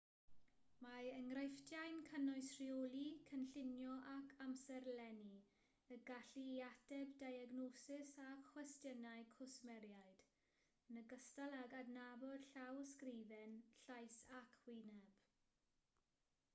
mae enghreifftiau'n cynnwys rheoli cynllunio ac amserlennu y gallu i ateb diagnosis a chwestiynau cwsmeriaid yn ogystal ag adnabod llawysgrifen llais ac wyneb